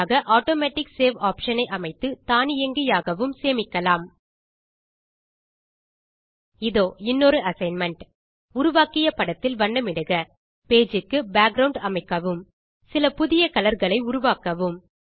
மாற்றாக automatic save option ஐ அமைத்து தானியங்கியாகவும் சேமிக்கலாம் இதோ இன்னொரு அசைன்மென்ட் உருவாக்கிய படத்தில் வண்ணமிடுக பேஜ் க்கு பேக்கிரவுண்ட் அமைக்கவும் சில புதிய கலர் களை உருவாக்கவும்